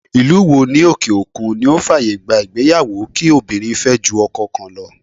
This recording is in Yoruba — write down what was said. Ìlú wo ní òkè òkun ni ó fàyè gba ìgbéyàwó kí obìnrin fẹ́ ju ọkọ kan lọ.